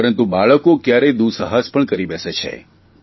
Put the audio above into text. પરંતુ બાળકો કયારેય દુસ્સાહસ પણ કરી બેસે છે